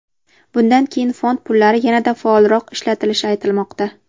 Bundan keyin fond pullari yanada faolroq ishlatilishi aytilmoqda.